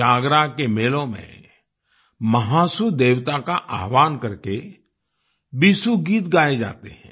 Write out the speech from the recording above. जागरा के मेलों में महासू देवता का आह्वाहन करके बीसू गीत गाए जाते हैं